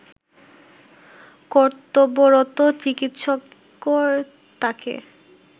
কর্তব্যরত চিকিৎসকর তাকে